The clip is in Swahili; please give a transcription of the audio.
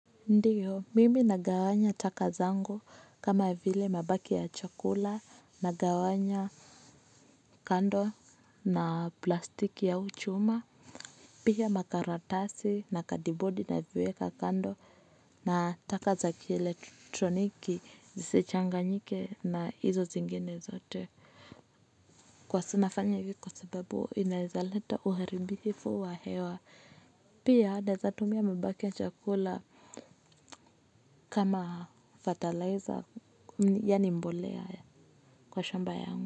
Ndiyo, mimi nagawanya taka zangu kama vile mabaki ya chakula nagawanya kando na plastiki ya uchuma. Pia makaratasi na kadibodi naviweka kando na taka za kielektroniki zisichanganyike na hizo zingine zote. Kwa nafanya hivi kwa sababu inaezaleta uharibifu wa hewa. Pia naeza tumia mabaki ya chakula kama fertilizer yaani mbolea kwa shamba yangu.